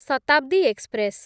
Shatabdi express